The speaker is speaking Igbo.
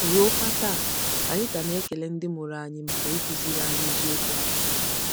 Ruokwa taa, anyị ka na-ekele ndị mụrụ anyị maka ịkụziri anyị eziokwu ahụ.